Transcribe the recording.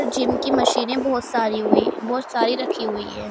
Gym की मशीनें बहोत सारी हुई बहोत सारी रखी हुई हैं।